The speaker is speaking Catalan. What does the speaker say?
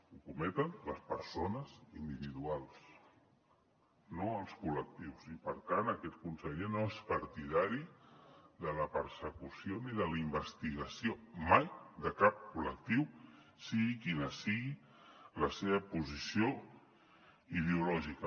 ho cometen les persones individuals no els col·lectius i per tant aquest conseller no és partidari de la persecució ni de la investigació mai de cap col·lectiu sigui quina sigui la seva posició ideològica